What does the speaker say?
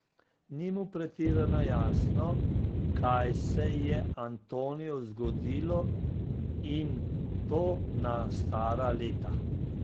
Ni mu pretirano jasno, kaj se je Antoniju zgodilo, in to na stara leta.